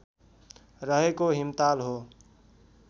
रहेको हिमताल हो